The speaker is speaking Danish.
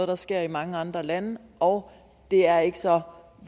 der sker i mange andre lande og det er ikke så